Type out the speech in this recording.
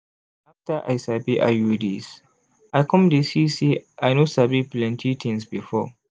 after i sabi iuds i come dey see say i no sabi plenty tins before.